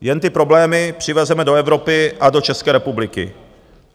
Jen ty problémy přivezeme do Evropy a do České republiky.